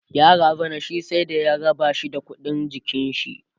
ya razana shi sai da ya rabashi da ƙuɗin jikinshi